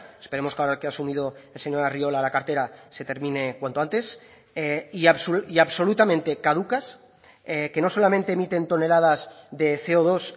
esperemos que ahora que ha asumido el señor arriola la cartera se termine cuanto antes y absolutamente caducas que no solamente emiten toneladas de ce o dos